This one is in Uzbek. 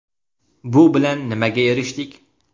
Bu bilan nimaga erishdik?!